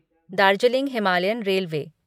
Darjeeling Himalayan railway